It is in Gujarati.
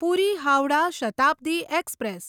પૂરી હાવડા શતાબ્દી એક્સપ્રેસ